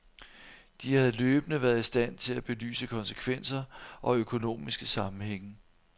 De havde løbende været i stand til at belyse konsekvenser og økonomiske sammenhænge.